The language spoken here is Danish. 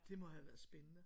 Det må have været spændende